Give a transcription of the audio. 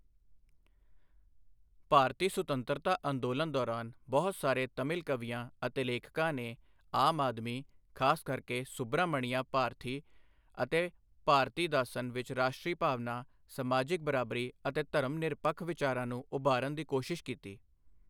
ਭਾਰਤੀ ਸੁਤੰਤਰਤਾ ਅੰਦੋਲਨ ਦੌਰਾਨ, ਬਹੁਤ ਸਾਰੇ ਤਮਿਲ ਕਵੀਆਂ ਅਤੇ ਲੇਖਕਾਂ ਨੇ ਆਮ ਆਦਮੀ, ਖਾਸ ਕਰਕੇ ਸੁਬਰਾਮਣੀਆ ਭਾਰਥੀ ਅਤੇ ਭਾਰਤੀਦਾਸਨ ਵਿੱਚ ਰਾਸ਼ਟਰੀ ਭਾਵਨਾ, ਸਮਾਜਿਕ ਬਰਾਬਰੀ ਅਤੇ ਧਰਮ ਨਿਰਪੱਖ ਵਿਚਾਰਾਂ ਨੂੰ ਉਭਾਰਨ ਦੀ ਕੋਸ਼ਿਸ਼ ਕੀਤੀ।